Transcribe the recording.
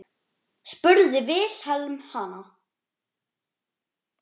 spurði Vilhelm hana.